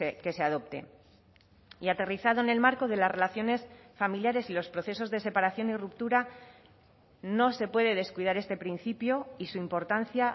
que se adopte y aterrizado en el marco de las relaciones familiares y los procesos de separación y ruptura no se puede descuidar este principio y su importancia